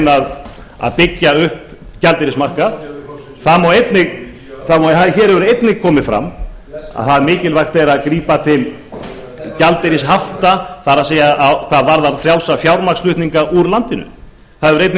reyna að byggja upp gjaldeyrismarkað hér hefur einnig komið fram að mikilvægt er að grípa til gjaldeyrishafta það er hvað varðar fjármagnsflutninga úr landinu það hefur einnig